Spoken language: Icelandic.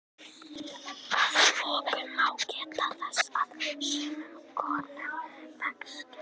Að lokum má geta þess að sumum konum vex skegg.